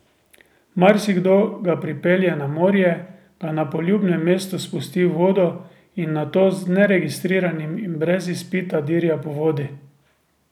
Marsikdo ga pripelje na morje, ga na poljubnem mestu spusti v vodo in nato z neregistriranim in brez izpita dirja po vodi.